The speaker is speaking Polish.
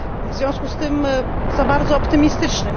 w związku z tym za bardzo optymistyczny.